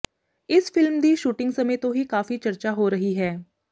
ਇਸ ਫ਼ਿਲਮ ਦੀ ਸ਼ੂਟਿੰਗ ਸਮੇਂ ਤੋਂ ਹੀ ਕਾਫੀ ਚਰਚਾ ਹੋ ਰਹੀ ਹੈ